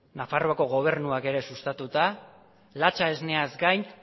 nafarroako gobernuak ere sustatuta latxa esneaz gain